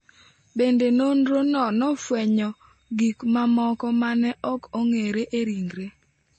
Bende, nonrono nofwenyo gik mamoko ma ne ok ong’ere e ringre.